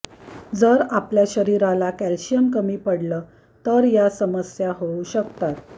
जर आपल्या शरीराला कॅल्शिअम कमी पडलं तर या समस्या होऊ शकतात